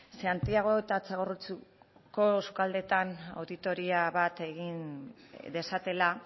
santiago eta txagorritxuko sukaldeetan auditoria bat egin dezatela